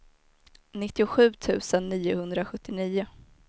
nittiosju tusen niohundrasjuttionio